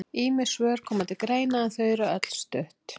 ýmis svör koma til greina en öll eru þau stutt